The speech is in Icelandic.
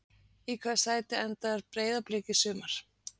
Í hvaða sæti endar Breiðablik í sumar?